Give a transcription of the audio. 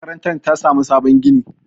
makarantar ta samu sabon gini